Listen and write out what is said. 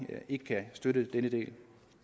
ikke kan støtte denne del